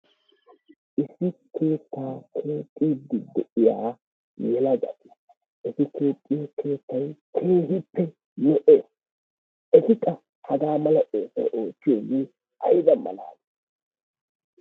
issi keettaa keexxiid de'iya yelagati eti keexxiyo keettay keehippe lo'ees, eti qa hara aleeqo keettaaa keexxiidi ayba mala